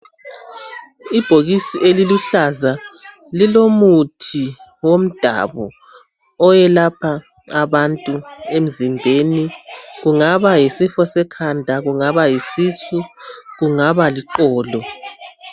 Ibhokisi eliluhlaza, lilomuthi womdabu. Owelapha abantu emzimbeni. Kungaba yisifo sekhanda. Kungaba yisisu. Kungaba liqolo.